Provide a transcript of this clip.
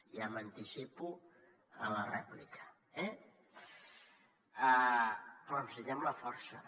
ja m’anticipo a la rèplica eh però necessitem la força